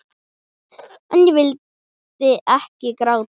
En ég vil ekki gráta.